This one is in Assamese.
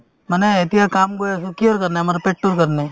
মানে এতিয়া কাম কৰি আছো কিহৰ কাৰণে আমাৰ পেটতোৰ কাৰণে